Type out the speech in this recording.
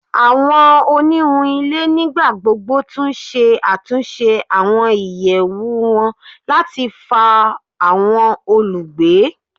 Awọn oniwun ile nigbagbogbo tun ṣe atunṣe awọn iyẹwu wọn lati fa awọn olugbe